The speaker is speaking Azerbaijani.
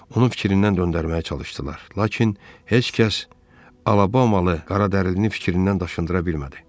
Onu fikrindən döndərməyə çalışdılar, lakin heç kəs Alabamalı qaradərlinin fikrindən daşındıra bilmədi.